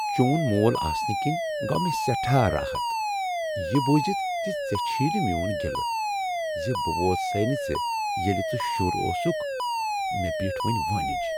چون مول آسنہٕ کِنۍ گوٚو مےٚ سٹھاہ راحت یہ بوزتھ زِ ژےٚ چھُے نہٕ میٛون گلہٕ زِ بہٕ ووت سے نہٕ ژےٚ ییٚلہ ژٕ شُر اوسکھ مےٚ بیٖٹھ وۄنۍ وٲنج۔